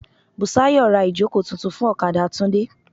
Bùsáyọ̀ ra ìjókòó tuntun fún ọ̀kadà Tunde.